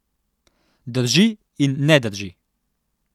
Drži in ne drži.